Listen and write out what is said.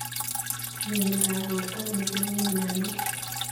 Mieindoab borto mising' en mionowek.